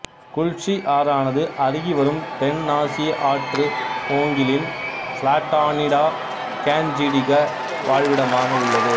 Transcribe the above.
குல்சி ஆறானது அருகிவரும் தென்னாசிய ஆற்று ஓங்கிலின் பிளாட்டானிடா கேஞ்ஜிடிக வாழ்விடமாக உள்ளது